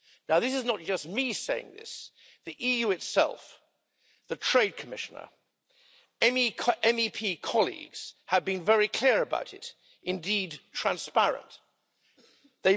This is not just me saying this. The EU itself, the Trade Commissioner and MEP colleagues, have been very clear, indeed transparent, about it.